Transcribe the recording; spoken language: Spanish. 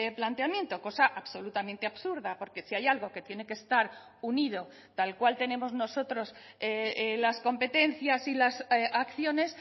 planteamiento cosa absolutamente absurda porque si hay algo que tiene que estar unido tal cual tenemos nosotros las competencias y las acciones